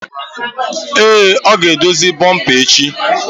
Èé, ọ ga-edozi bomper echi.